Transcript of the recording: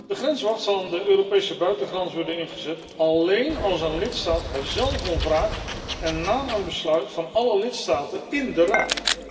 De grenswacht zal aan de Europese buitengrens worden ingezet alleen als een lidstaat er zelf om vraagt en na een besluit van alle lidstaten in de Raad.